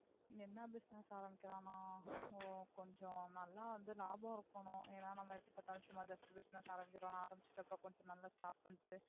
என்ன business ஆரம்பிக்கலாம்னா அஹ் கொஞ்சம் நல்லா வந்து லாபம் இருக்கனும். ஏன்னா நம்ம எப்பப்பாத்தாலும் சும்மா just business ஆரம்பிக்கிறோம்னு ஆரம்பிச்சிட்டு அப்புறம் கொஞ்ச நாளில stop பன்னிட்டு